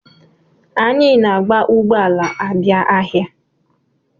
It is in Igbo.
Anyị na-anya ụgbọ ala abia ahịa.